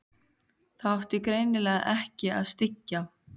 Það átti greinilega ekki að styggja